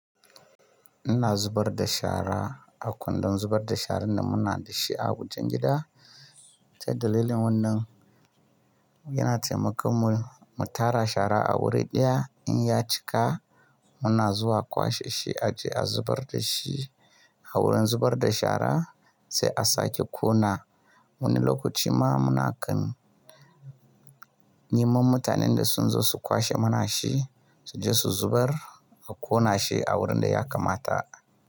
Ina zubar da shara a kundin zubar da sharan da muna da shi a wajen gida, sai dalilin wannan yana taimakon mu, mu tara shara a wuri ɗaya in ya cika muna zuwa kwashe shi a je a zubar da shi a wurin zubar da shara sai a sake ƙona. Wani lokaci ma munakan neman mutanen da sun zo su kwashe mana shi, su je su zubar a ƙona shi a wurin da ya kamata.